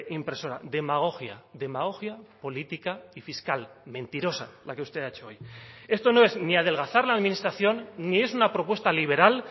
impresora demagogia demagogia política y fiscal mentirosa la que usted ha hecho hoy esto no es ni adelgazar la administración ni es una propuesta liberal